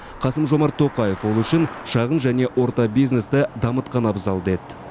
қасым жомарт тоқаев ол үшін шағын және орта бизнесті дамытқан абзал деді